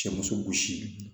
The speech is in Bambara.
Cɛmuso gosi